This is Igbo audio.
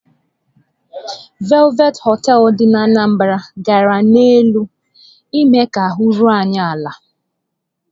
Velvet hotel dị n'Anambra gara n'elu ime ka ahụ́ ruo anyị ala.